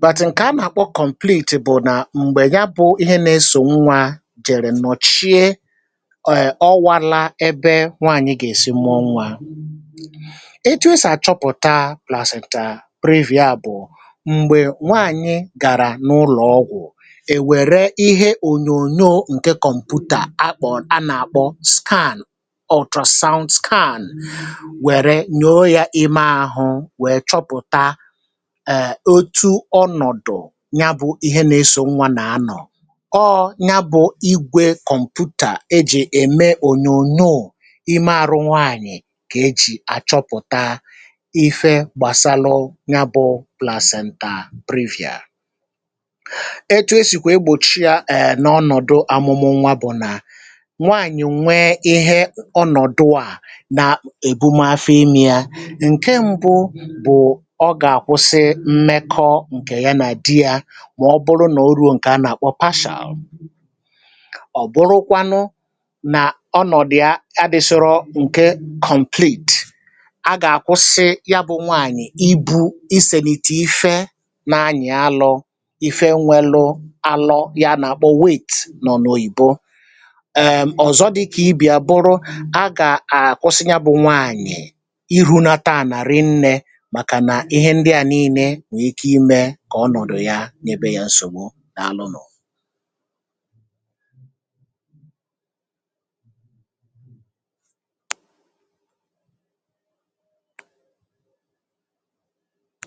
bàtị̀ ǹke a màkpọ a be a kọ̀mplit bụ̀ nà m̀gbè ya bụ̇ ihe nà-esò nwa dị̀rị̀ nọ̀chie ọ̀ghị̀lȧ ebe nwaànyị gà-èsi mmụọ nwȧ um e to sì àchọpụ̀ta plàs nà previa bụ̀ m̀gbè nwaànyị gàrà n’ụlọ̀ ọgwụ̀ è wère ihe ònyònyò ǹke kọ̀mpụ̀tà akpọ̀ a nà-àkpọ scan ultrasound scan wère nyòo ya ime àhụ èè otu ọnọ̀dụ̀ ya bụ̇ ihe nà-esò nwa nà-anọ̀ ọọ̇ ya bụ̇ igwė kọ̀mpụ̀tà ejì ème ònyònyò ì marụ nwaànyị̀ kà ejì àchọpụ̀ta ife gbàsalu ṅụbụ please ntà brifùa etu esìkwà egbòchi yȧ èè n’ọnọ̀dụ amụ̇mụ̇ nwȧ bụ̀ nà nwaànyị̀ nwee ihe ọnọ̀dụ à nà èbumafem ya ǹke mbụ ǹkè ya nà di ya mà ọ bụrụ nà o ruo ǹkè anà-àkwọ patio ọ̀ bụrụkwanụ nà ọnọ̀dụ̀ adị̇sụrụ ǹkecomputè a gà-àkwụsi ya bụ̇ nwaànyị̀ ibu̇ isèlìtè ife nà-anyì alọ̇ um ife nwelu̇ alọ ya nà-àkpọ wit nọ̀ n’òbò ebe ẹ̀m ọ̀zọ dịkà ibi̇ àbụrụ a gà-àkwụsị ya bụ̇ nwaànyị̀ ịhu̇nata à nà ri nnė n’ebe ya nsògbu n’alụnụ̀.